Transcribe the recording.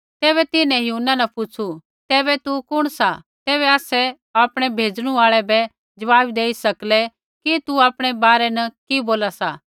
तैबै तिन्हैं यूहन्ना न पुछ़ु तैबै तू कुण सा तैबै आसै आपणै भेजणु आल़ै ज़वाब देई सकलै कि तू आपणै बारै न कि बोला सा